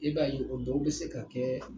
E b'a ye o dɔw be se ka kɛ